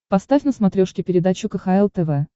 поставь на смотрешке передачу кхл тв